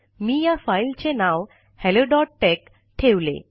मी या फाइल चे नाव हॅलो डॉट टेक ठेवले